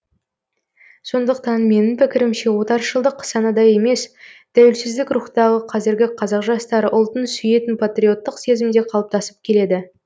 сондықтан менің пікірімше отаршылдық санада емес тәуелсіздік рухтағы қазіргі қазақ жастары ұлтын сүйетін патриоттық сезімде қалыптасып келеді